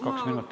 Kaks minutit.